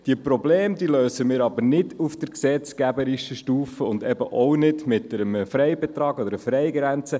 Die Probleme lösen wir aber nicht auf der gesetzgeberischen Stufe und eben auch nicht mit einem Freibetrag oder einer Freigrenze.